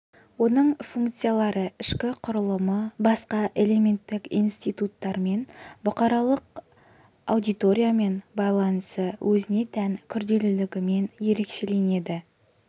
оның функциялары ішкі құрылымы басқа элементтік институттармен бұқаралық аудиториямен байланысы өзіне тән күрделілігімен ерекшеленеді